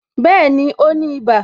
Bẹẹni, ó ní ibà